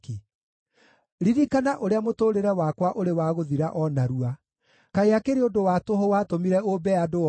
Ririkana ũrĩa mũtũũrĩre wakwa ũrĩ wa gũthira o narua. Kaĩ akĩrĩ ũndũ wa tũhũ watũmire ũmbe andũ othe!